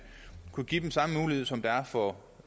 kunne give dem samme mulighed som der er for